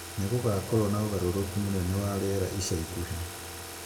nĩ gũgakorũo na ũgarũrũku mũnene wa rĩera ica ikuhĩ